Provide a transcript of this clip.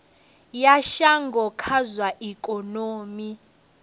ya shango kha zwa ikonomi